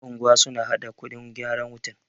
yan'unguwa suna haɗa kuɗin gyaran wutar